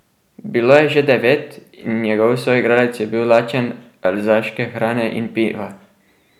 Bilo je že devet in njegov soigralec je bil lačen alzaške hrane in piva.